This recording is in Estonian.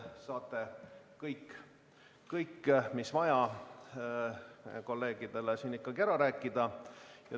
Saate kõik, mis vaja, ikkagi ära rääkida.